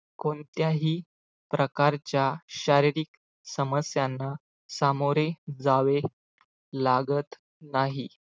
कोणत्याही प्रकारच्या शारीरिक समस्यांना सामोरे जावे लागत नाही